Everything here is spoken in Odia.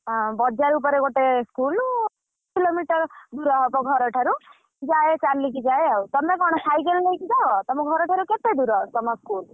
ବଜାର ଉପରେ ଗୋଟେ school half kilometer ଦୂର ହବ ଘରଠାରୁ ଯାଏ ଚାଲିକି ଯାଏ ଆଉ ତମେ କଣ cycle ନେଇକି ଯାଅ? ତମ ଘରଠାରୁ କେତେଦୂର ତମ school ?